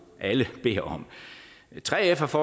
alle beder om 3f